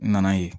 N nana ye